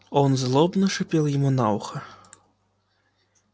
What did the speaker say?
он злобно шипел ему на ухо